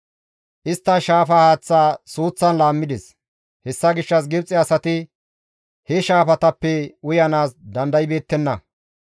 Istta shaafa haaththa suuththan laammides; hessa gishshas Gibxe asati he shaafatappe uyanaas dandaybeettenna.